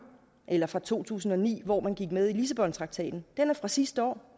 eller fra to tusind og ni hvor man gik med i lissabontraktaten den er fra sidste år